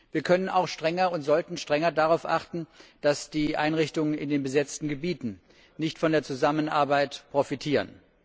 Wir können und sollten strenger darauf achten, dass die Einrichtungen in den besetzen Gebieten nicht von der Zusammenarbeit profitieren.